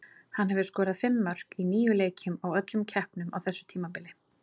Hann hefur skorað fimm mörk í níu leikjum í öllum keppnum á þessu tímabili.